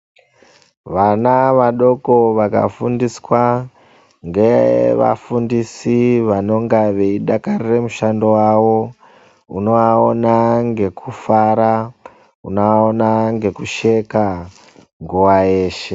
Vana vadoko vakafundiswa ngevafundisi anenge achidakarare mushando yavo unovaona nekufara ,unovaona nekusheka nguva yeshe.